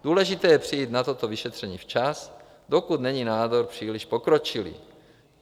Důležité je přijít na toto vyšetření včas, dokud není nádor příliš pokročilý.